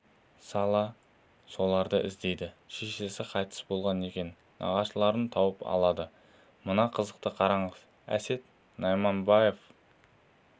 сала соларды іздейді шешесі қайтыс болған екен нағашыларын тауып алады мына қызықты қараңыз әсет найманбаев